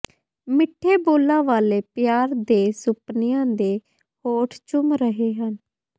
ਮਿੱਠੇ ਬੋਲਾਂ ਵਾਲੇ ਪਿਆਰ ਦੇ ਸੁਪਨਿਆਂ ਦੇ ਹੋਂਠ ਚੁੰਮ ਰਹੇ ਹਨ